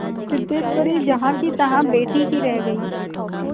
सिद्धेश्वरी जहाँकीतहाँ बैठी ही रह गई